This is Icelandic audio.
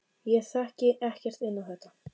Ég þekki ekkert inn á þetta.